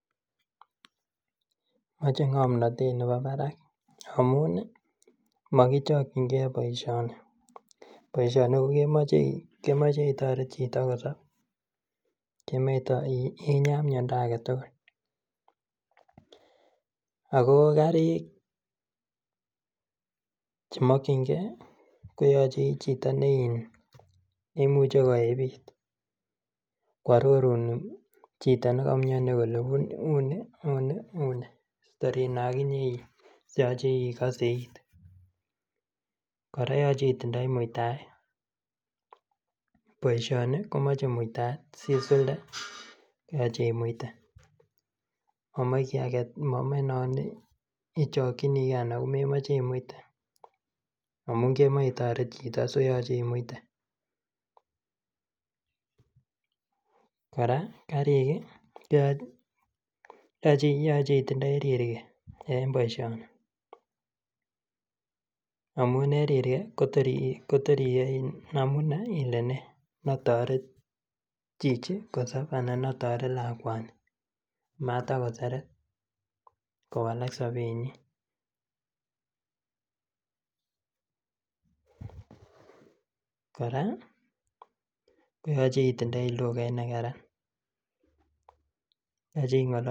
moche ngomnotet neemii baraak amuun iih mogichokingee boishoni, boishoni kogemoche itoreet chito kossob kemoee inyaa myondo agetugul, ago karik chemokyingee koyoche ichito neiin neimuche koebiit kwororuun chito negomyoni kole uuni uuni uuni yoche igose iit, koraa yoche itindoii muitaet, boishoni komoche muitaet sisulde koyoche imuite, momoe non ichokyinigee anan komemoe imuite amun kemoe itoreet chito so yoche imuite koraa karik iih yoche itindoii riirgee en boishoni amun en rirgee kotoor iih iyoe ilenee notoret chichi kosob anan notoret lakwanii matagoseret kowalak sobeet nyiin koraa koyoche itindoii lugait negaran, yoche ingolol,,